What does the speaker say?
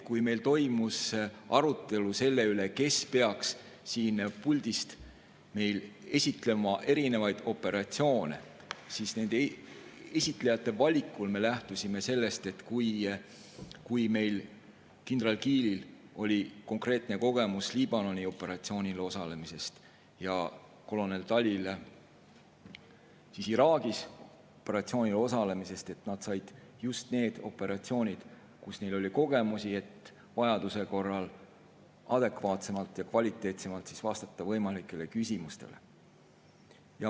Kui meil toimus arutelu selle üle, kes peaks siin puldist esitlema erinevaid operatsioone, siis esinejate valikul me lähtusime sellest, et kuna kindral Kiilil oli konkreetne kogemus Liibanoni operatsioonil osalemisest ja kolonel Talil Iraagi operatsioonil osalemisest, siis nad said just nende operatsioonide, milles osalemise kogemusi neil oli, et vajaduse korral adekvaatsemalt ja kvaliteetsemalt vastata võimalikele küsimustele.